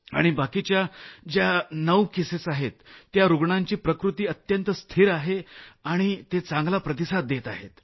आणि बाकीच्या ज्या 9 केसेस आहेत त्या रूग्णांची प्रकृती अत्यंत स्थिर आहे आणि ते चांगला प्रतिसाद देत आहेत